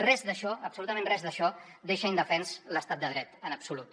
res d’això absolutament res d’això deixa indefens l’estat de dret en absolut